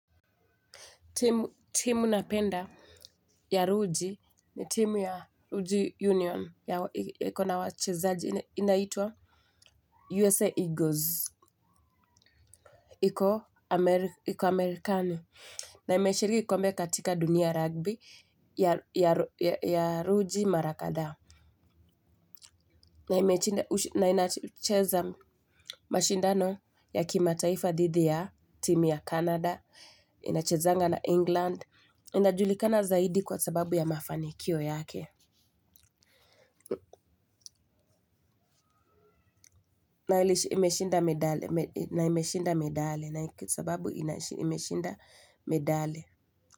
Timu napenda ya RUJI ni timu ya RUJI Union ya ikona wachezaji inaitwa USA Eagles. Iko Amerikani na imeshiriki kombe katika dunia rugby ya RUJI Marakadhaa. Na inacheza mashindano ya kimataifa dhidi ya timu ya Canada, inachezanga na England, inajulikana zaidi kwa sababu ya mafanikio yake, na imeshinda medali, sababu imeshinda medali.